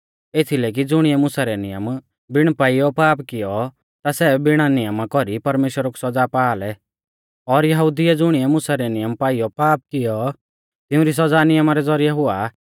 एथीलै की ज़ुणिऐ मुसा रै नियमा बिण पाईयौ पाप कियौ ता सै बिणा नियमा कौरी परमेश्‍वरा कु सौज़ा पा आ लै और यहुदिउऐ ज़ुणिऐ मुसा रै नियम पाईयौ पाप कियौ तिउंरी सौज़ा नियमा रै ज़ौरिऐ हुआ